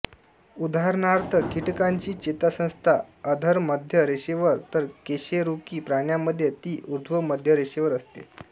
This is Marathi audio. उदाहरणार्थ कीटकांची चेतासंस्था अधर मध्य रेषेवर तर कशेरुकी प्राण्यामध्ये ती ऊर्ध्व मध्यरेषेवर असते